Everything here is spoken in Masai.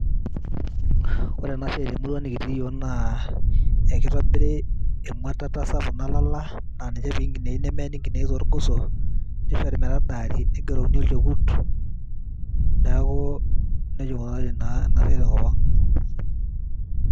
Ore ena siai te murrua nikitii naa ekitobiri emwatata sapuk nalala naa ninye nepiki nkinejik ,nemeeni nkinejik torgoso ,nishori metadaari ,nigerokini olchekut ,neaku nejia eikunari Ina siai tenkop Ang.